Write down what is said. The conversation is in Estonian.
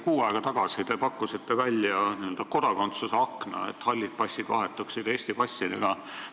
Kuu aega tagasi pakkusite te välja n-ö kodakondsuse akna, et hallid passid vahetuksid Eesti passidega.